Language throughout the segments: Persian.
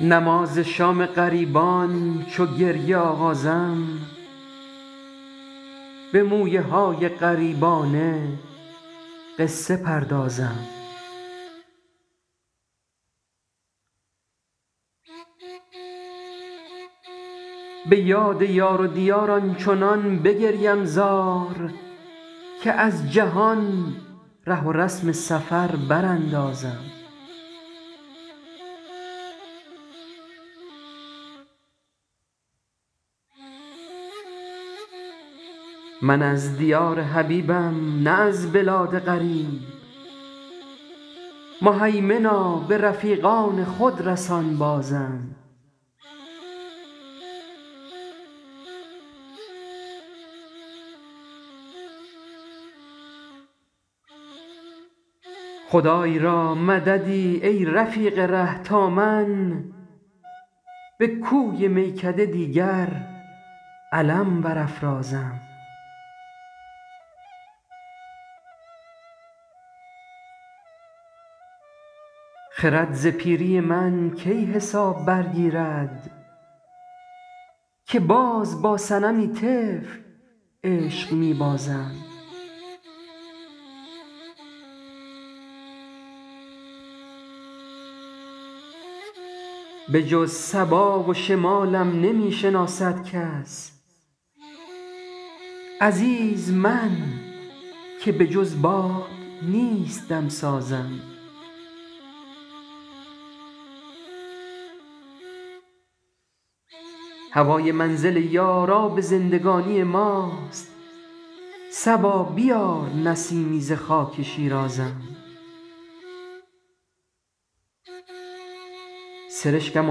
نماز شام غریبان چو گریه آغازم به مویه های غریبانه قصه پردازم به یاد یار و دیار آنچنان بگریم زار که از جهان ره و رسم سفر براندازم من از دیار حبیبم نه از بلاد غریب مهیمنا به رفیقان خود رسان بازم خدای را مددی ای رفیق ره تا من به کوی میکده دیگر علم برافرازم خرد ز پیری من کی حساب برگیرد که باز با صنمی طفل عشق می بازم بجز صبا و شمالم نمی شناسد کس عزیز من که بجز باد نیست دم سازم هوای منزل یار آب زندگانی ماست صبا بیار نسیمی ز خاک شیرازم سرشکم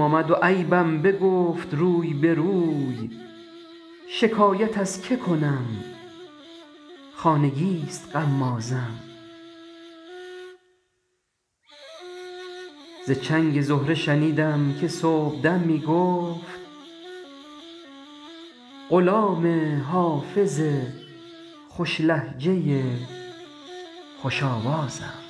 آمد و عیبم بگفت روی به روی شکایت از که کنم خانگی ست غمازم ز چنگ زهره شنیدم که صبح دم می گفت غلام حافظ خوش لهجه خوش آوازم